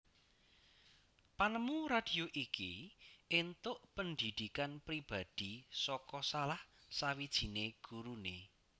Panemu radio iki entuk pendhidhikan pribadhi saka salah sawijiné guruné